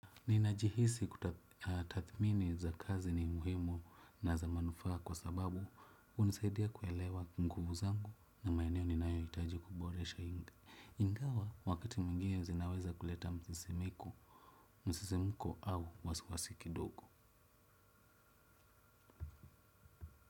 Ninajihisi kutathimini za kazi ni muhimu na za manufa kwa sababu unisaidia kuelewa mkubu zangu na maineo ni nayo itaji kuboresha inga. Ingawa wakati mingia zinaweza kuleta msisimiko, msisimiko au wasuwasiki doko.